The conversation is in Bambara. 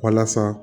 Walasa